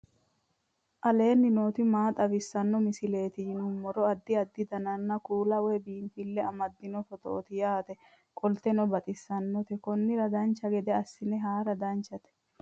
aleenni nooti maa xawisanno misileeti yinummoro addi addi dananna kuula woy biinsille amaddino footooti yaate qoltenno baxissannote konnira dancha gede assine haara danchate